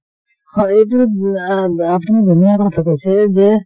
হয় এইটো অ আপুনি ধুনীয়া কথা কৈছে যে